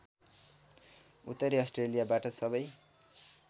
उत्तरी अस्ट्रेलियाबाट सबै